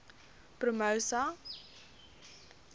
promosa